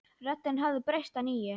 Röddin hafði breyst að nýju.